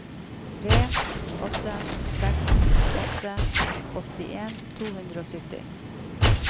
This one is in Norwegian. tre åtte seks åtte åttien to hundre og sytti